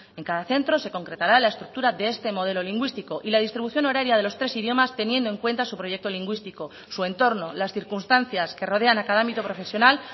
en cada centro se concretará la estructura de este modelo lingüístico y la distribución horaria de los tres idiomas teniendo en cuenta su proyecto lingüístico su entorno las circunstancias que rodean a cada ámbito profesional